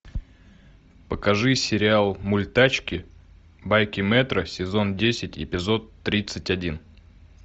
покажи сериал мультачки байки мэтра сезон десять эпизод тридцать один